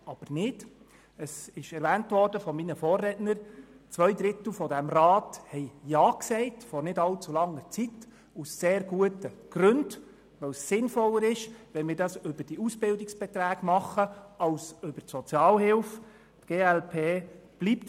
Von meinen Vorrednern wurde erwähnt, dass zwei Drittel dieses Rats vor nicht allzu langer Zeit aus sehr guten Gründen Ja sagten, weil es sinnvoller ist, wenn wir über die Ausbildungsbeiträge und nicht über die Sozialhilfe Unterstützung leisten.